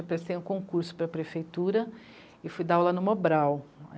Eu prestei um concurso para a prefeitura e fui dar aula no Mobral.